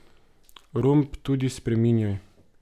Romb tudi spreminjaj.